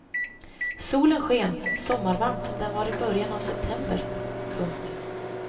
Solen sken sommarvarmt som den var i början av september. punkt